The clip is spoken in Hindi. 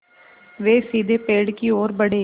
वे सीधे पेड़ की ओर बढ़े